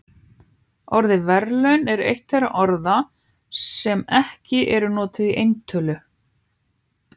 Orðið verðlaun er eitt þeirra orða sem ekki eru notuð í eintölu.